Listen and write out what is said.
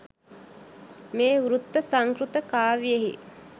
මේ වෘත්ත සංස්කෘත කාව්‍යයෙහි